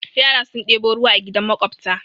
Yara sun ɗebo ruwa a gidan maƙwabta.